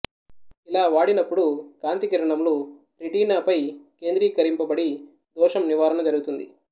ఇలా వాడినపుడు కాంతి కిరణములు రెటీనా పై కేంద్రీకరింపబడి దోషం నివారణ జరుగుతుంది